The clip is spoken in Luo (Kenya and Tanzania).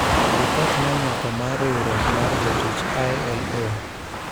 Ripot monywako mar riwruok mar jotich, ILO,